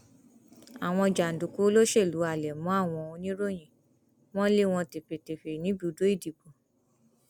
àwọn jàǹdùkú olóṣèlú halẹ mọ àwọn oníròyìn wọn lé wọn tẹfẹtẹfẹ níbùdó ìdìbò